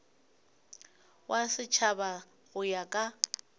wa setšhaba go ya ka